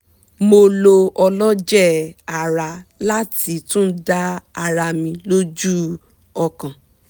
mo lo ọlọjẹ ara láti tún dá ara mi lójú ọkàn